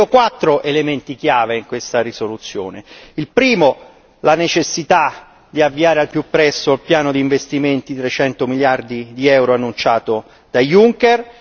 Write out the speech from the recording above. Io vedo quattro elementi chiave in questa risoluzione il primo, la necessità di avviare al più presto il piano di investimenti di 300 miliardi di euro annunciato da Juncker